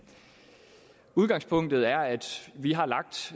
udgangspunktet er at vi har lagt